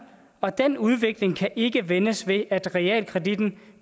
og den udvikling kan ikke vendes ved at realkreditten